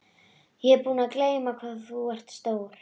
Ég var búin að gleyma hvað þú ert stór.